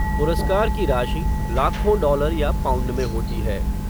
पुरस्कार की राशि, लाखों डॉलर या पाउंड में होती है